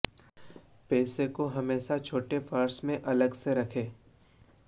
पैसे को हमेशा छोटे पर्स में अलग से रखें